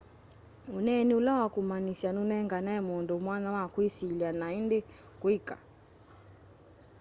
uneeni ũla wa kũmanĩsya nũnenganaa mũndũ mwanya wa kwĩsilya na ĩndĩ kwĩka